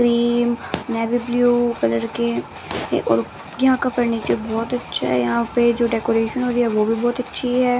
Cream navy blue colour के और यहाँ का फर्नीचर बहुत अच्छा है यहाँ पे जो डेकोरेशन हो रही है वो भी बहुत अच्छी है।